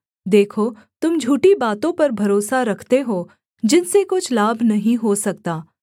देखो तुम झूठी बातों पर भरोसा रखते हो जिनसे कुछ लाभ नहीं हो सकता